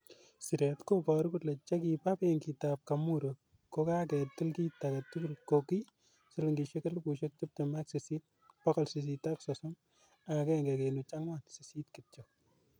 Siret koboru kole chekiba benkita Kamuri ko kaketil kit agetugul ko ki silingisiek Elifusiek Tibtem ak sisit, bogol sisit ak sosom ak agenge kenuch angwan sisit kityo.